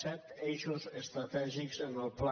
set eixos estratègics en el pla